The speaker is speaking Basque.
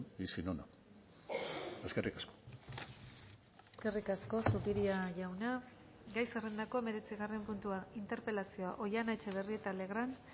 y si no no eskerrik asko eskerrik asko zupiria jauna gai zerrendako hemeretzigarren puntua interpelazioa oihana etxebarrieta legrand